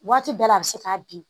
Waati bɛɛ la a bɛ se k'a bin